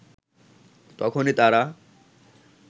তখনই তারা